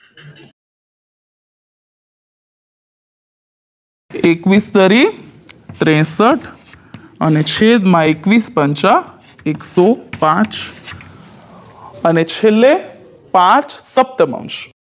એકવીસ તેરી ત્રેસઠ અને છેદમાં એકવીસ પંચા એક સો પાંચ અને છેલ્લે પાંચ સપ્તમાંશ